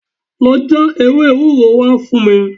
Lọ já ewé ewúro wá fún mi